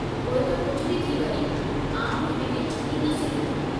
पोइ त कुझु बि थी वञे, आउं हिन खे छॾींदुसि ई न।